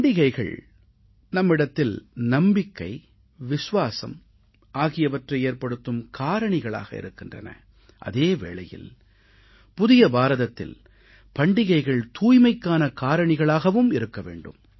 பண்டிகைகள் நம்மிடத்தில் நம்பிக்கை விசுவாசம் ஆகியவற்றை ஏற்படுத்தும் காரணிகளாக இருக்கின்றன அதே வேளையில் புதிய பாரதத்தில் பண்டிகைகள் தூய்மைக்கான காரணிகளாகவும் இருக்க வேண்டும்